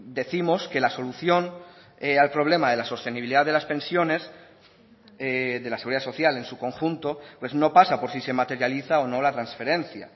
décimos que la solución al problema de las sostenibilidad de las pensiones de la seguridad social en su conjunto pues no pasa por si se materializa o no la transferencia